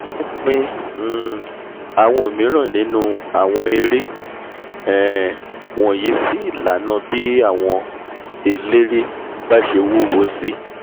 wọ́n tún pín um àwọn òmíran nínú àwọn eré um wọ̀nyí sí ìlànà bí àwọn eléré bá bá ṣe wúwo sí